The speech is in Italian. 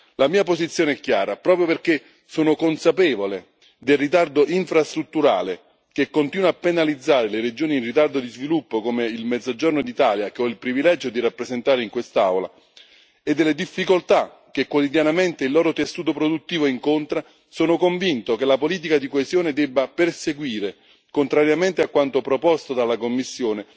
La mia posizione è chiara, proprio perché sono consapevole del ritardo infrastrutturale che continua a penalizzare le regioni in ritardo di sviluppo come il Mezzogiorno d'Italia, che ho il privilegio di rappresentare in quest'Aula e delle difficoltà che quotidianamente il loro tessuto produttivo incontra, sono convinto che la politica di coesione debba perseguire, contrariamente a quanto proposto dalla Commissione,